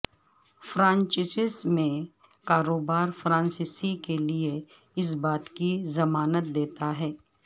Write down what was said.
franchises میں کاروبار franchises کے لئے اس بات کی ضمانت دیتا ہے